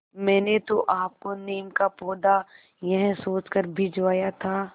मैंने तो आपको नीम का पौधा यह सोचकर भिजवाया था